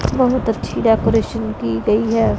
बहुत अच्छी डेकोरेशन की गई है।